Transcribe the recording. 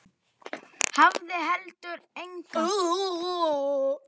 Hafði heldur enga.